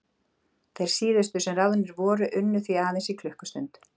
Þeir síðustu sem ráðnir voru unnu því aðeins í klukkustund.